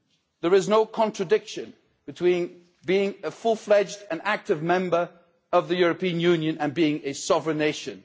There is no contradiction between being a fully fledged, active member of the European Union and being a sovereign nation.